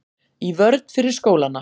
Í vörn fyrir skólana